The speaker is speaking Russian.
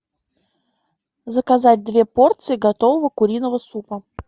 заказать две порции готового куриного супа